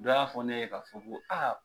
Dɔ y'a fɔ ne ye ka fɔ ko a